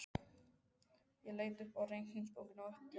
Ég leit upp úr reikningsbókinni, yppti öxlum.